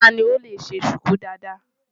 Ta ni ó lè ṣe ṣùkú dáadáa?